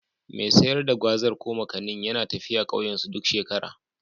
Mai sayar da Gwazar/ Makanin yana tafiya ƙauyensu duk shekara.